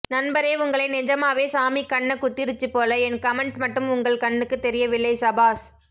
நண்பரே உங்களை நிஜமாவே சாமி கண்ணகுத்திருச்சு போல என் கமென்ட் மட்டும் உங்கள் கண்ணுக்குத் தெரியவில்லை சபாஸ்